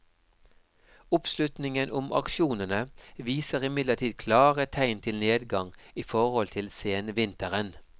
Oppslutningen om aksjonene viser imidlertid klare tegn til nedgang i forhold til senvinteren.